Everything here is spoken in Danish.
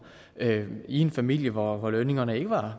i en familie hvor lønningerne ikke var